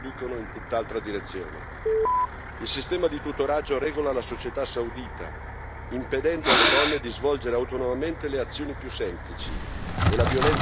Il sistema di tutoraggio regola la società saudita, impedendo alle donne di svolgere autonomamente le azioni più semplici, e la violenza di genere non è un crimine riconosciuto.